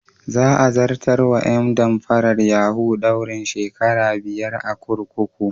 Za a zartar wa ƴan damfarar yahu daurin shekara biyar a kurkuku.